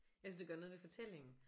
Jeg synes det gør noget ved fortællingen